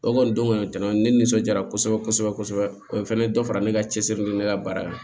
O kɔni don kɔni tɛna ne nisɔndiya kosɛbɛ kosɛbɛ kosɛbɛ o ye fana dɔ fara ne ka cɛsiri ni ne ka baara ye